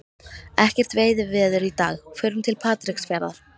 Ekkert veiðiveður í dag, förum til Patreksfjarðar.